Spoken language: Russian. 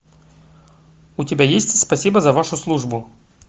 у тебя есть спасибо за вашу службу